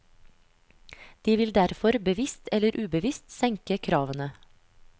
De vil derfor bevisst eller ubevisst senke kravene.